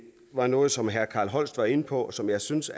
var noget som herre carl holst var inde på og som jeg synes